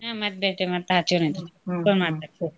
ಹ್ಮ್ ಮತ್ ಬೆಟ್ಟಿ ಮಾಡ್ತಾ ಹಚ್ಚೋನಂತ್ರಿ phone ಮಾಡ್ತೇವ್ ತಗೋರಿ.